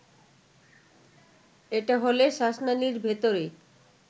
এটা হলে শ্বাসনালীর ভেতরে